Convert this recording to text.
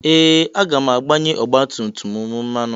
Ee! Aga m agbanye ọgbatumtum m mmanụ.